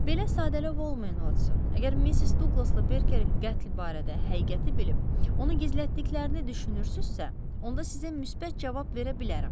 Belə sadəlövh olmayın, Votson, əgər Missis Duqlasla Berkerin qətl barədə həqiqəti bilib, onu gizlətdiklərini düşünürsünüzsə, onda sizə müsbət cavab verə bilərəm.